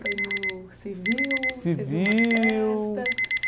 Foi no civil, civil teve uma festa?